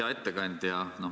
Hea ettekandja!